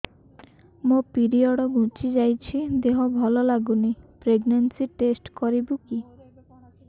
ମୋ ପିରିଅଡ଼ ଘୁଞ୍ଚି ଯାଇଛି ଦେହ ଭଲ ଲାଗୁନି ପ୍ରେଗ୍ନନ୍ସି ଟେଷ୍ଟ କରିବୁ କି